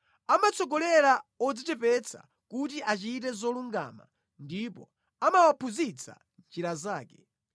Amatsogolera odzichepetsa kuti achite zolungama ndipo amawaphunzitsa njira zake.